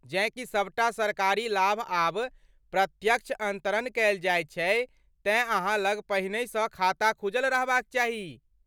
जेँ की सबटा सरकारी लाभ आब प्रत्यक्ष अन्तरण कएल जाइत छै तेँ अहाँ लग पहिनहिसँ खाता खुजल रहबाक चाही।